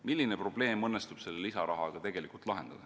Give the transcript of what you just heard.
Milline probleem õnnestub selle lisarahaga lahendada?